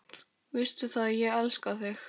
Veistu það, ég elska þig.